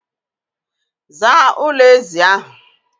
Zaa ụlọ ezi ahụ!